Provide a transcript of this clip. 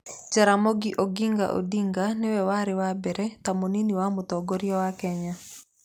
Jaramogi Oginga Odinga nĩ we warĩ wa mbere ta mũnini wa mũtongoria wa Kenya.